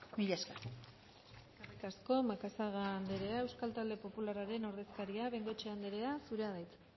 mila esker eskerrik asko macazaga anderea euskal talde popularraren ordezkaria bengoechea anderea zurea da hitza